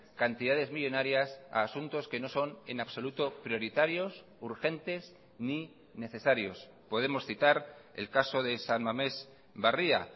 cantidades millónarias a asuntos que no son en absoluto prioritarios urgentes ni necesarios podemos citar el caso de san mamés barria